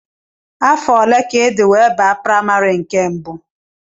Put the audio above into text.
Afọ ole ka ịdị wee baa primary nke mbụ?